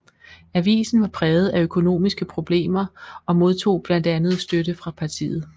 Avisen var præget af økonomiske problemer og modtog blandt andet støtte fra partiet